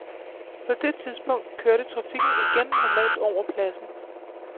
På det tidspunkt kørte trafikken igen normalt over pladsen.